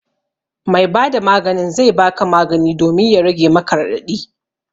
Mai ba da maganin zai ba ka magani domin ya rage maka raɗaɗi